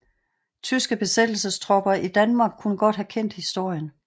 Tyske besættelsestropper i Danmark kan godt have kendt historien